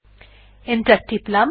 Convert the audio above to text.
enter টিপলাম